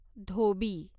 धोबी